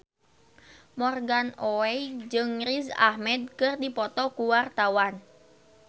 Morgan Oey jeung Riz Ahmed keur dipoto ku wartawan